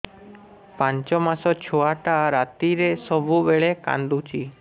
ପାଞ୍ଚ ମାସ ଛୁଆଟା ରାତିରେ ସବୁବେଳେ କାନ୍ଦୁଚି